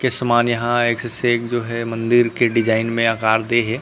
के सामान यहाँ एक से एक जो है मंदिर के डिज़ाइन में आकार दे हे।